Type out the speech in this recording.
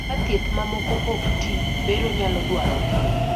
ka thieth mamoko ik tii, bero nyalo dwarore